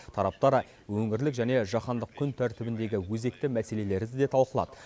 тараптар өңірлік және жаһандық күн тәртібіндегі өзекті мәселелерді де талқылады